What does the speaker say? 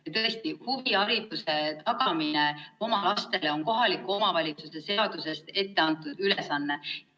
Ja tõesti, huvihariduse tagamine oma lastele on kohaliku omavalitsuse seaduses etteantud ülesanne.